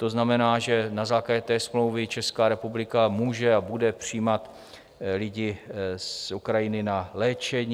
To znamená, že na základě té smlouvy Česká republika může a bude přijímat lidi z Ukrajiny na léčení.